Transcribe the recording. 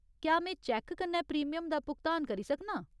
क्या में चैक्क कन्नै प्रीमियम दा भुगतान करी सकनां?